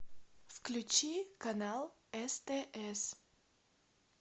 включи канал стс